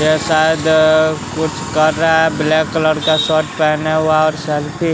ये शायद कुछ कर रहा है ब्लैक कलर का शर्ट पहना हुआ और सेल्फी --